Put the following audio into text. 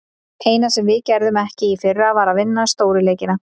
Eina sem við gerðum ekki í fyrra, var að vinna stóru leikina.